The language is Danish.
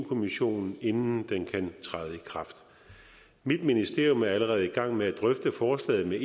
kommissionen inden den kan træde i kraft mit ministerium er allerede i gang med at drøfte forslaget med